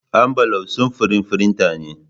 Ambulaf samfurin firinta ne.